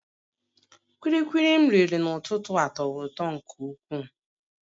Kulikuli m riri n'ụtụtụ a tọrọ ụtọ nke ukwuu